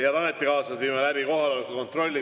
Head ametikaaslased, viime läbi kohaloleku kontrolli.